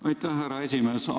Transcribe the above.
Aitäh, härra esimees!